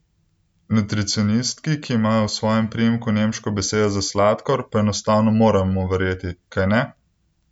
Nutricionistki, ki ima v svojem priimku nemško besedo za sladkor, pa enostavno moramo verjeti, kajne?